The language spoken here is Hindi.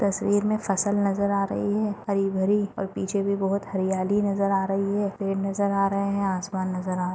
तस्वीर मे फसल नजर आ रही है हरी भरी और पीछे भी बहुत हरियाली नजर आ रही है। पेड़ नजर आ रहे है आसमान नजर आ रहा--